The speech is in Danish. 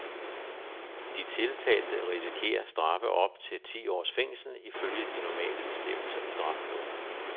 De tiltalte risikerer straffe op til ti års fængsel ifølge de normale bestemmelser i straffeloven.